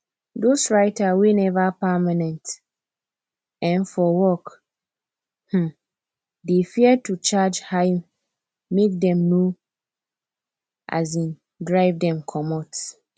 dos writer wey neva permanent um for work um dey fear to charge high make dem nor um drive dem comot